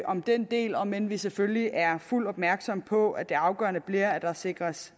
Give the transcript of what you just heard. om denne del om end vi selvfølgelig er fuldt ud opmærksomme på at det afgørende bliver at der sikres